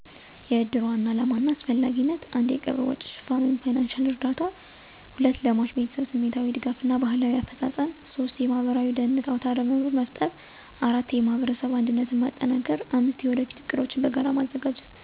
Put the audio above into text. **የእድር ዋና ዓላማና አስፈላጊነት:** 1. የቀብር ወጪ ሽፋን (ፋይናንሺያል እርዳታ) 2. ለሟች ቤተሰብ ስሜታዊ ድጋፍ እና ባህላዊ አፈፃፀም 3. የማህበራዊ ደህንነት አውታረመረብ መፍጠር 4. የማህበረሰብ አንድነት ማጠናከር 5. የወደፊት ዕቅዶችን በጋራ ማዘጋጀት